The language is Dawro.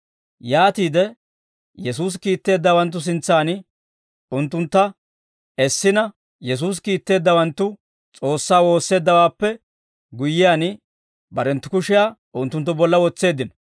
Yaatiide Yesuusi kiitteeddawanttu sintsaan unttuntta essina, Yesuusi kiitteeddawanttu S'oossaa woosseeddawaappe guyyiyaan, barenttu kushiyaa unttunttu bolla wotseeddino.